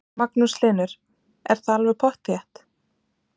Magnús Hlynur: Er það alveg pottþétt?